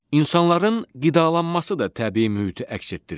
İnsanların qidalanması da təbii mühiti əks etdirir.